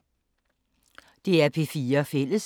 DR P4 Fælles